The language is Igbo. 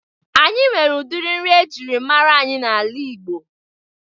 Anyị nwere udiri nri ejiri mara anyị n'ala Ịgbo